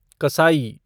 कसाई